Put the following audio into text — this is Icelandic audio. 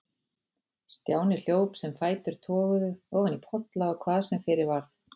Stjáni hljóp sem fætur toguðu, ofan í polla og hvað sem fyrir varð.